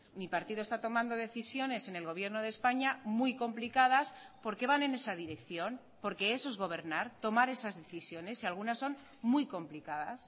mi partido está tomando decisiones en el gobierno de españa muy complicadas porque van en esa dirección porque eso es gobernar tomar esas decisiones y algunas son muy complicadas